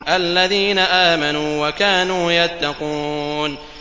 الَّذِينَ آمَنُوا وَكَانُوا يَتَّقُونَ